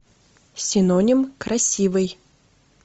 синоним красивый